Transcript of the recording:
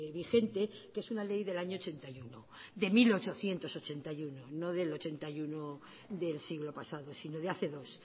vigente que es una ley del año ochenta y uno de mil ochocientos ochenta y uno no del ochenta y uno del siglo pasado sino de hace dos